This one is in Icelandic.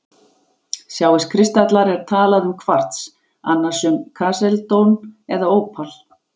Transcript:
Sjáist kristallar er talað um kvars, annars um kalsedón eða ópal.